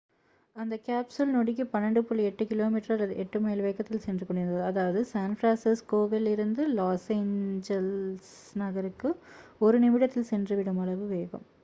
அந்த கேப்சூல் நொடிக்கு 12.8 கி மி அல்லது 8 மைல் வேகத்தில் சென்று கொண்டிருந்தது அதாவது சான் பிரான்சிஸ்கோவில் இருந்து லாஸ் எஞ்சலிஸ் நகருக்கு ஒரு one நிமிடத்தில் சென்று விடும் அளவு வேகம்